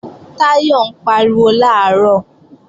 Táyọ̀ ń pariwo làárọ̀